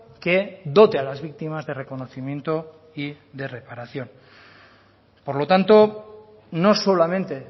que dote a las víctimas de reconocimiento y de reparación por lo tanto no solamente